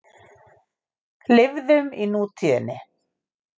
Lifðum í nútíðinni.